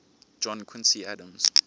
john quincy adams